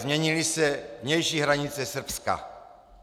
Změnily se vnější hranice Srbska.